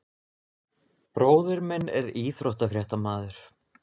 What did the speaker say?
Bróðir minn er íþróttafréttamaður.